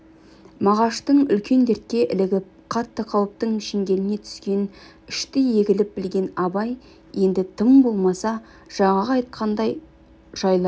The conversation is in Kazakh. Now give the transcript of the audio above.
мағаштың үлкен дертке ілігіп қатты қауіптің шеңгеліне түскенін іштей егіліп білген абай енді тым болмаса жаңағы айтқандай жайларды